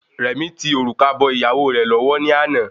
Rẹ̀mí tí òrùka bọ ìyàwó rẹ̀ lọ́wọ́ ni àná